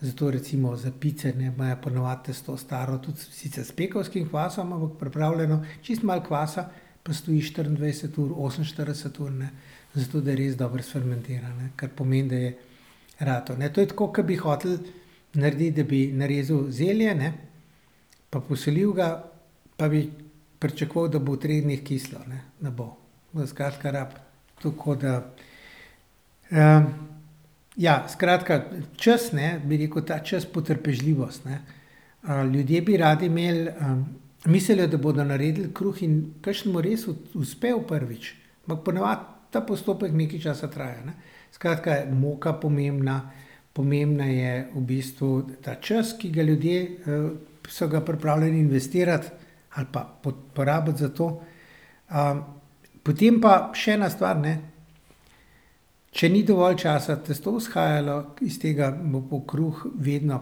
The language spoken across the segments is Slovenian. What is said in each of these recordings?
Zato recimo za pice, ne, imajo po navadi tisto staro tudi, sicr s pekovskim kvasom, ampak pripravljeno, čisto malo kvasa, pa stoji štiriindvajset ur, oseminštirideset ur, ne. Zato, da res dobro sfermentira, ne. Kar pomeni, da je ratal, ne. To je tako, ke bi hoteli narediti, da bi narezal zelje, ne, pa posolil ga, pa bi pričakoval, da bo v treh dneh kislo, ne. Ne bo. Skratka, rabi tako da, ja, skratka, čas, ne, bi rekel, ta čas, potrpežljivost, ne. ljudje bi radi imeli, mislijo, da bodo naredili kruh, in kakšnemu res uspe v prvič, ampak po navadi ta postopek nekaj časa traja, ne. Skratka, moka je pomembna, pomemben je v bistvu ta čas, ki ga ljudje, so ga pripravljeni investirati, ali pa porabiti za to. potem pa še ena stvar, ne. Če ni dovolj časa testo vzhajalo, iz tega bo kruh vedno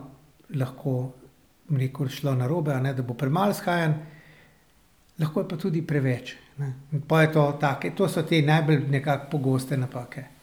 lahko, bom rekel, šlo narobe, a ne, da bo premalo vzhajano, lahko je pa tudi preveč, ne, in pol je to tako. In to so te najbolj nekako pogoste napake.